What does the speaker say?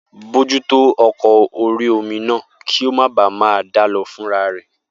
Bojútó ọkọ̀ orí-omi náà kí ó máa baà ma dálọ fúnra rẹ̀